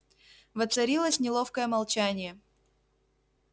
воцарилось неловкое молчание